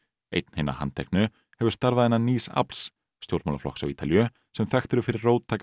einn hinna handteknu hefur starfað innan nýs afls stjórnmálaflokks á Ítalíu sem þekktur er fyrir róttæka